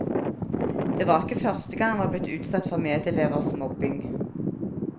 Det var ikke første gang han var blitt utsatt for medelevers mobbing.